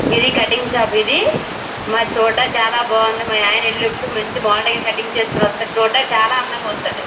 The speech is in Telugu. ఇది కటింగ్ షాప్ ఇది. మా చోట చాల బాగుంది. మా అయన ఎలి ఎపుడు మంచి మోడల్ గా కటింగ్ చేసుకొని వస్తాడు. చూడ్డానికి చాలా అందంగా ఉంటాడు.